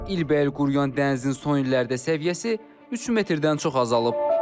İlbeil quruyan dənizin son illərdə səviyyəsi 3 metrdən çox azalıb.